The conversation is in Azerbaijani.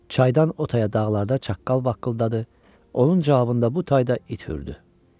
Çaydan o taya dağlarda çaqqal vaqqıldadı, onun cavabında bu tayda it hürdü.